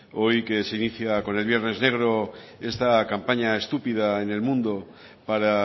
hoy que se inicia con el viernes negro esta campaña estúpida en el mundo para